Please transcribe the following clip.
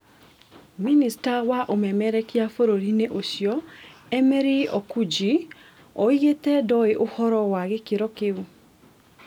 Mïnĩsta wa ũmemerekia bũrũri-inĩ ũcio Emery Okundji oigĩte ndoĩ ũhoro wa gĩkĩro kĩu